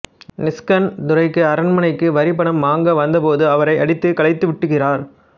Nixon Durai அரண்மனைக்கு வரிப்பணம் வாங்க வந்தபோது அவரை அடித்துக் கலைத்து விட்டுகிறார்